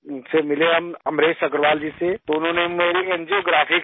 پھر ملے ہم امریش اگروال جی سے، تو انہوں نے میری انجیوگرافی کری